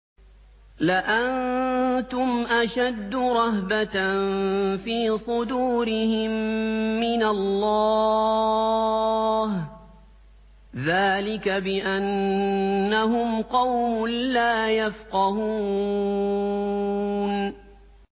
لَأَنتُمْ أَشَدُّ رَهْبَةً فِي صُدُورِهِم مِّنَ اللَّهِ ۚ ذَٰلِكَ بِأَنَّهُمْ قَوْمٌ لَّا يَفْقَهُونَ